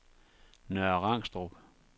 Nørre Rangstrup